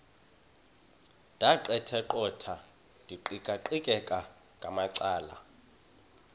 ndaqetheqotha ndiqikaqikeka ngamacala